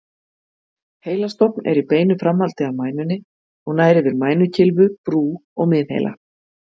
Heilastofn er í beinu framhaldi af mænunni og nær yfir mænukylfu, brú og miðheila.